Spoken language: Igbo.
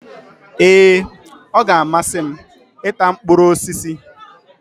Ee! Ọ g'amasị m i ta mkpụrụ osisi.